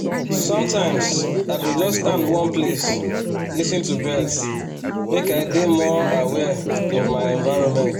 sometimes i go just stand one place lis ten to birds make i dey more aware of my environment